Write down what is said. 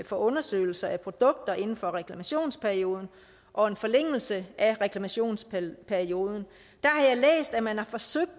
for undersøgelse af produkter inden for reklamationsperioden og en forlængelse af reklamationsperioden har jeg læst at man har forsøgt